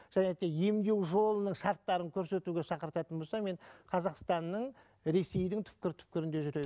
және де емдеу жолының шарттарын көрсетуге шақыртатын болса мен қазақстанның ресейдің түпкір түпкірінде